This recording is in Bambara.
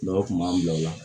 Dɔw kun b'an bila o la